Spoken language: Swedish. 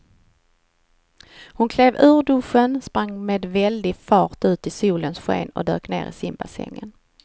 Hon klev ur duschen, sprang med väldig fart ut i solens sken och dök ner i simbassängen.